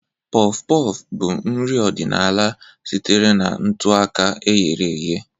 Puff-puff bụ nri ọdịnala sitere na ntụ ọka e ghere eghe.